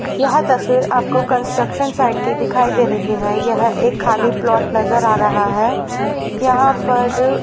यह तस्वीर आपको कंस्ट्रक्शन साइट की दिखाइ दे रही है यह एक खाली प्लॉट नजर आ रहा है यहां पर--